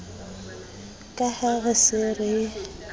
ka ha re se re